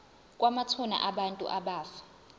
kwamathuna abantu abafa